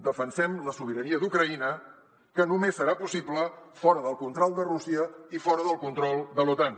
de·fensem la sobirania d’ucraïna que només serà possible fora del control de rússia i fora del control de l’otan